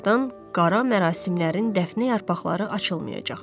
onlardan qara mərasimlərin dəfnə yarpaqları açılmayacaq.